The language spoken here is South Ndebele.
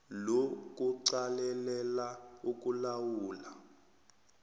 lo kuqalelela ukulawulwa